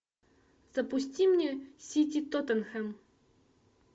запусти мне сити тоттенхэм